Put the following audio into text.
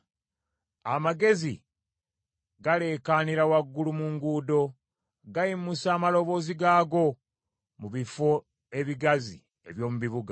Amagezi galeekaanira waggulu mu nguudo; gayimusa amaloboozi gaago, mu bifo ebigazi eby’omu bibuga.